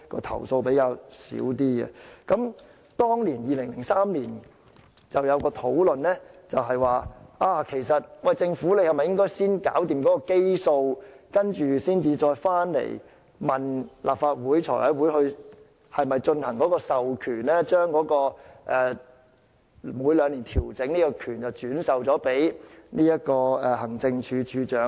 當時在2003年的討論已向政府提出應否先解決基數，然後再回來向財委會提交授權的建議，即是否將每兩年作出調整的權力轉授給行政署長。